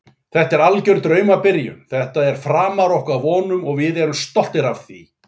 Þetta er alger draumabyrjun, þetta er framar okkar vonum og við erum stoltir af því.